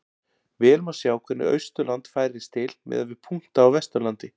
Vel má sjá hvernig Austurland færist til miðað við punkta á Vesturlandi.